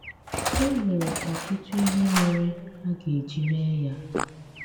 É nwere ọtụtụ̀ ihe mèrè a ga-eji mee ya!